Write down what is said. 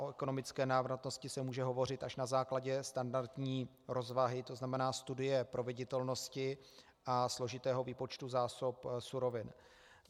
O ekonomické návratnosti se může hovořit až na základě standardní rozvahy, to znamená studie proveditelnosti a složitého výpočtu zásob surovin.